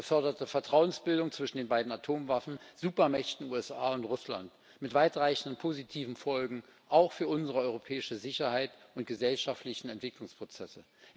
Er beförderte Vertrauensbildung zwischen den beiden Atomwaffensupermächten USA und Russland mit weitreichenden positiven Folgen, auch für unsere europäische Sicherheit und unsere gesellschaftlichen Entwicklungsprozesse.